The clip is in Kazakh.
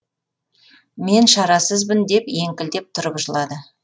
мен шарасызбын деп еңкілдеп тұрып жылады